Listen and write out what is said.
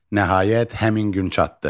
Nəhayət həmin gün çatdı.